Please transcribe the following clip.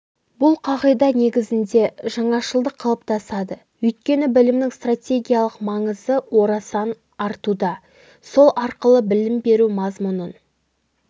бұл қағида негізінде жаңашылдық қалыптасады өйткені білімнің стратегиялық маңызы орасан артуда сол арқылы білім беру мазмұнын